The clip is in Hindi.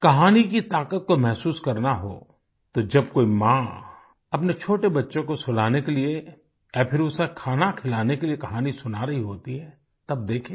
कहानी की ताकत को महसूस करना हो तो जब कोई माँ अपने छोटे बच्चे को सुलाने के लिए या फिर उसे खाना खिलाने के लिए कहानी सुना रही होती है तब देखें